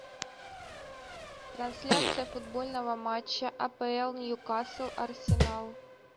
трансляция футбольного матча апл ньюкасл арсенал